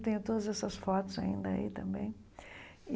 Tenho todas essas fotos ainda aí também e.